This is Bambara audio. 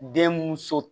Den mun so